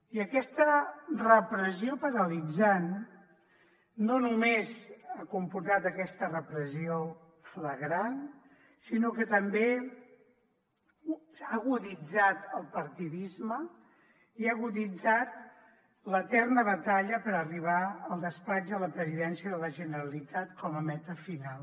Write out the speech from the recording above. i aquesta repressió paralitzant no només ha comportat aquesta repressió flagrant sinó que també ha aguditzat el partidisme i ha aguditzat l’eterna batalla per arribar al despatx de la presidència de la generalitat com a meta final